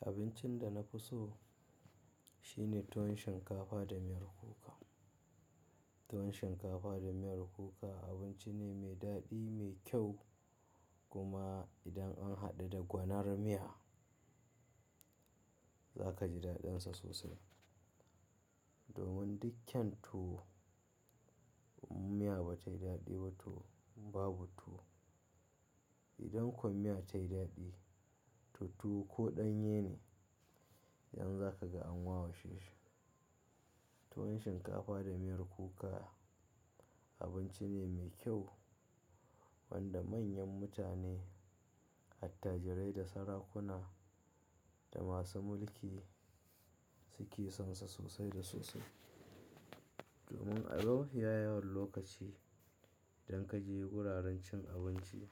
Abincin da na fi so shine tuwon shinkafa da miyar kuka. Tuwon shinkafa da miyar kuka abinci ne mai daɗi, mai kyau kuma idan an haɗa da gwanar miya za ka ji daɗinsa sosai. Domin duk kyan tuwo, miya ba ta yi daɗi ba tuwo babu tuwo. Idan kuwa miya ta yi daɗi, to tuwo ko ɗanye ne, yanzu za ka ga an washe shi. Tuwon shinkafa da miyar kuka abinci ne mai kyau wanda manyan mutane, attajirai da sarakuna da masu mulki suke son sa sosai da sosai. Domin a mafiya yawan lokaci idan ka je wuraren cin abinci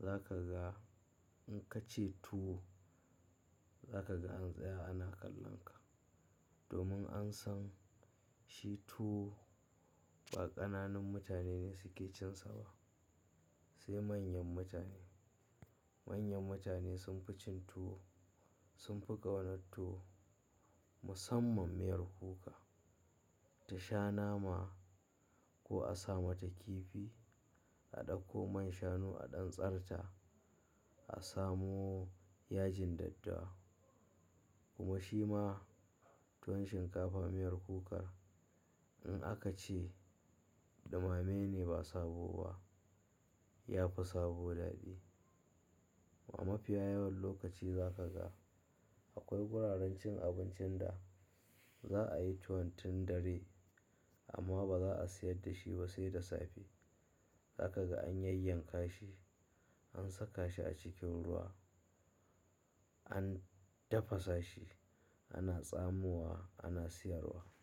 za ka ga in ka ce tuwo, za ka ga an tsaya ana kallon ka. Domin an san shi tuwo ƙananun mutane ne suke cin sa ba, sai manyan mutane. Manyan mutane sun fi cin tuwo, sun fi gwanon tuwo musamman miyar kuka. Ta sha nama ko a sa mata kifi, a ɗauko man shanu a ɗan tsan ta, a samo yajin daddawa kuma shi ma tuwon shinkafa miyar kukar in aka ce ɗumame ne ba sabo ba, ya fi sabo daɗi. A mafiya yawan lokaci za ka ga akwai wuraren cin abincin da za a yi tuwon tun dare amma ba za a sayar da shi ba sai da safe. Za ka ga an yanyanka shi, an saka shi a cikin ruwa, an tafasa shi, ana tsamuwa, ana sayarwa.